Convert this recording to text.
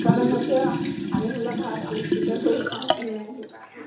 সেই কাৰণে মই এতিয়া পানী ধলা ভাত, আলু পিতিকা কৰি খাওঁ এয়া এনেকুৱাকে।